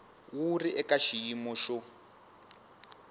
wu ri eka xiyimo xo